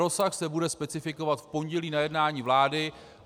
Rozsah se bude specifikovat v pondělí na jednání vlády.